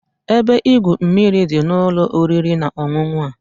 Ebe igwu mmiri dị n'ụlọ oriri na ọṅụṅụ a.